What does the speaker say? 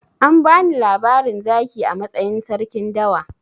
An bani labarin zaki a matsayin sarkin dawa.